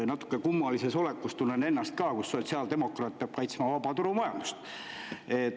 Natuke kummalises olekus tunnen ennast ka, kus sotsiaaldemokraat peab kaitsma vabaturumajandust.